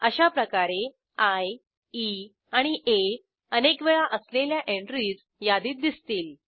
अशाप्रकारे I E आणि आ अनेक वेळा असलेल्या एंट्रीज यादीत दिसतील